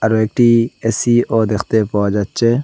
আরও একটি এ_সিও দেখতে পাওয়া যাচ্চে।